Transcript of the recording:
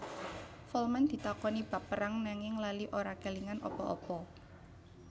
Folman ditakoni bab perang nanging lali ora kélingan apa apa